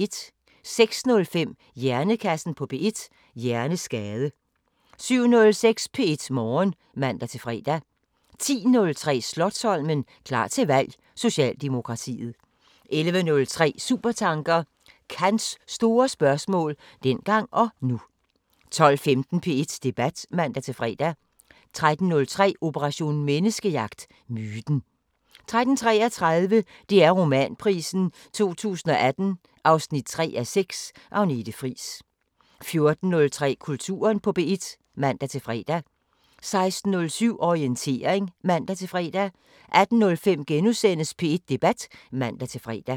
06:05: Hjernekassen på P1: Hjerneskade 07:06: P1 Morgen (man-fre) 10:03: Slotsholmen – klar til valg: Socialdemokratiet 11:03: Supertanker: Kants store spørgsmål – dengang og nu 12:15: P1 Debat (man-fre) 13:03: Operation Menneskejagt: Myten 13:33: DR Romanprisen 2018 3:6 – Agnete Friis 14:03: Kulturen på P1 (man-fre) 16:07: Orientering (man-fre) 18:05: P1 Debat *(man-fre)